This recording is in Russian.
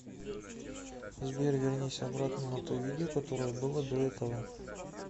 сбер вернись обратно на то видео которое было до этого